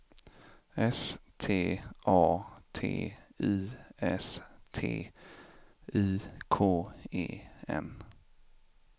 S T A T I S T I K E N